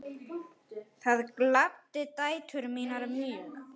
Það gladdi dætur mínar mjög.